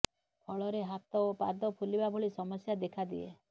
ଫଳରେ ହାତ ଓ ପାଦ ଫୁଲିବା ଭଳି ସମସ୍ୟା ଦେଖାଦିଏ